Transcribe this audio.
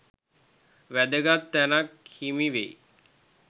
වැදගත් තැනක් හිමි වෙයි.